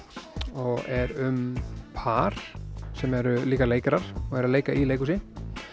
og er um par sem eru líka leikarar og eru að leika í leikhúsi